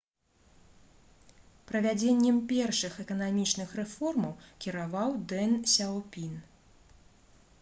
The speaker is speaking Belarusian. правядзеннем першых эканамічных рэформаў кіраваў дэн сяопін